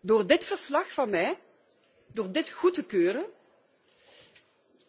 Door mijn verslag goed te keuren